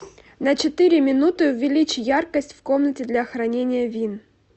на четыре минуты увеличь яркость в комнате для хранения вин